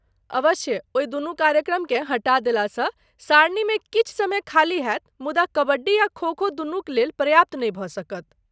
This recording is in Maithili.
अवश्य, ओहि दुनू कार्यक्रमकेँ हटा देलासँ सारणीमे किछु समय खाली होयत मुदा कबड्डी आ खो खो दुनूक लेल पर्याप्त नहि भऽ सकत।